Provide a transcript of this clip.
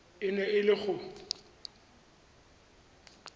e neng e le go